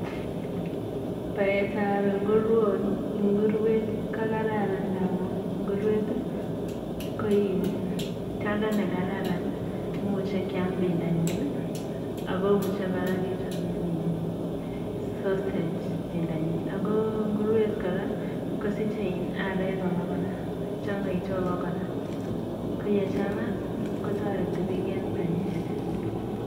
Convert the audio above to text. Baetab nguroniik, nguruet ko kararan ndamun nguruet ko tiondo ne kararan, kimuche keam pendonyin ako muche muchei kora kechope sausage pendonyin ako nguruet kora kosich areek changaitu ako kora kochengaitu kotoreti biik eng panyek.